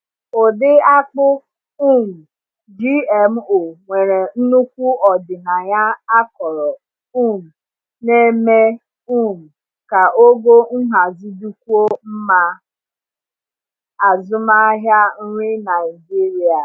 Ụdị akpụ um GMO nwere nnukwu ọdịnaya akọrọ um na-eme um ka ogo nhazi dịkwuo mma maka azụmahịa nri Naijiria.